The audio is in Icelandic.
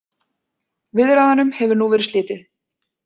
Viðræðunum hefur nú verið slitið